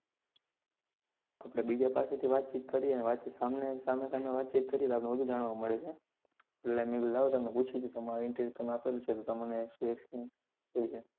આપણે બીજા પાસે થી વાત ચિત કરીએ વાત ચિત સામને સામેં વાત ચિત કરીએ તો આપણે વધુ જાણવા મળે છે એટલે મેં કીધું લાવો તમે પૂછી લઉ તમારું interview તમે આપેલું છે તો તમને experience છે